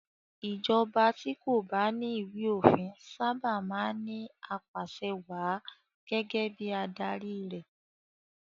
Ìjọba tí kò bá ní ìwé-òfin sábà máa ń ní apàsẹwàá gẹ́gẹ́ bí adarí rẹ̀.